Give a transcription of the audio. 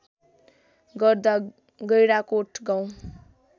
गर्दा गैंडाकोट गाउँ